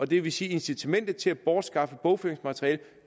det vil sige at incitamentet til at bortskaffe bogføringsmateriale